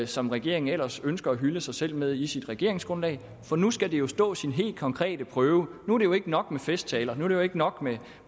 som regeringen ellers ønsker at hylde sig selv med i sit regeringsgrundlag for nu skal det jo stå sin helt konkrete prøve nu er det ikke nok med festtaler nu er det ikke nok med